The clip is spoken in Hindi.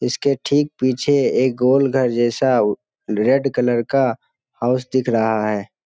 इसके ठीक पीछे एक गोल घर जैसा उ रेड कलर का हॉउस दिख रहा है।